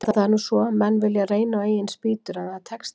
En það er nú svo, menn vilja reyna á eigin spýtur, en það tekst ekki.